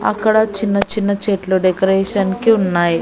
అక్కడ చిన్న చిన్న చెట్లు డెకరేషన్ కి ఉన్నాయి.